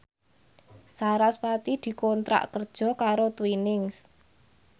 sarasvati dikontrak kerja karo Twinings